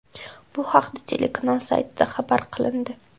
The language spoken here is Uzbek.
Bu haqda telekanal saytida xabar qilindi .